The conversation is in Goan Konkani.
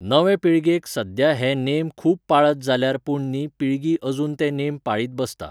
नवे पिळगेक सद्द्या हे नेम खूब पातळ जाल्यात पूण नी पिळगी अजून ते नेम पाळीत बसता.